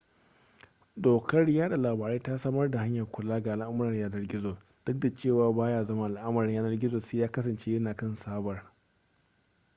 dokar yada labarai ta samar da hanyar kula ga al'amuran yanar gizo duk da cewa baya zama al'amarin yanar gizo sai ya kasance yana kan sabar